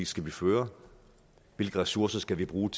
skal vi føre hvilke ressourcer skal vi bruge